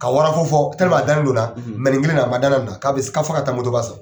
Ka wara ko fɔ a dalen do n na nin kelen a man da n na k'a bɛ fɔ ka taa moto ba san.